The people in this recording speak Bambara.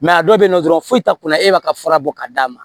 a dɔw bɛ yen nɔ dɔrɔn foyi t'a kunna e ma ka fura bɔ k'a d'a ma